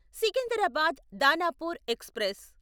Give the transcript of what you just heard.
Secunderabad Danapur express